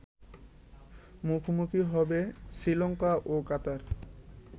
মুখোমুখি হবে শ্রীলঙ্কা ও কাতার